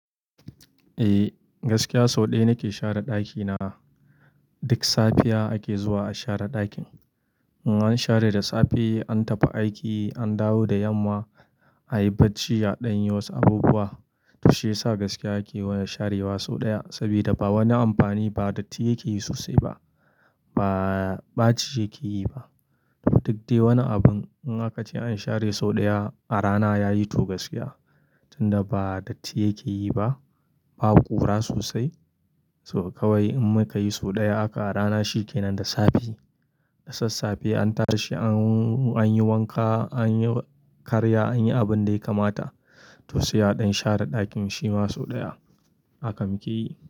Eh, gaskiya sau ɗaya nake share ɗakina. Duk safiya ake zuwa a share ɗakin. In an share da safe, an tafi aiki, an dawo da yamma a yi bacci, a ɗan yiwance abubuwa. To shiyasa gaskiya ake sharewa sau ɗaya. Saboda ba wani amfani ba, datti yake yi sosai ba, ba ɓaci yake yi ba. Duk dai wani abun in aka ce an share sau ɗaya a rana yayi to gaskiya. Tunda ba datti yake yi ba, babu ƙura sosai. Saboda kawai in muka yi sau ɗaya haka a rana shi ke nan da safe. Da sassafe an tada shi an, an yi wanka, an yi karya, an yi abin da ya kamata. To siyadin share ɗakin shi ma sau ɗaya aka muke yi.